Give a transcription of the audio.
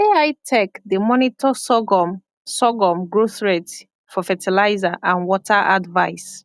ai tech dey monitor sorghum sorghum growth rate for fertilizer and water advice